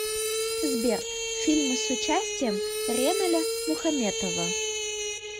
сбер фильмы с участием реналя мухаметова